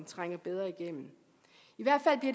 trænge bedre igennem